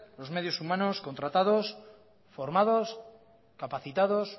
los medios humanos contratados formados capacitados